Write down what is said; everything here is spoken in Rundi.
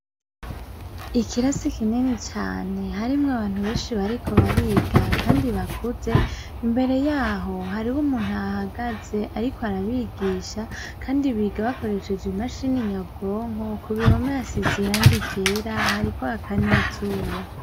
Ikirasi kinini cane harimwo abantu benshi bariko bariga, kandi bakuze imbere yaho hari ho umuntu ahagaze, ariko arabigisha, kandi biga bakoresheje imashini nyabwonko ku bihomasi ziranga igera hariko akanizuba.